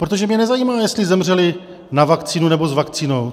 Protože mě nezajímá, jestli zemřeli na vakcínu, nebo s vakcínou.